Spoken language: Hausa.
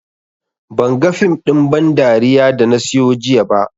Banga fim ɗin ban dariya da na siyo jiya ba